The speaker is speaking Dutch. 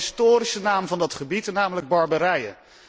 Ik heb het over de historische naam van dat gebied, namelijk Barbarije.